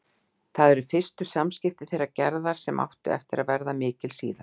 Það eru fyrstu samskipti þeirra Gerðar, sem áttu eftir að verða mikil síðar.